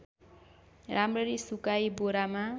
राम्ररी सुकाई बोरामा